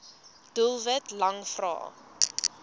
doelwit lang vrae